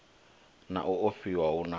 na u ofhiwa hu na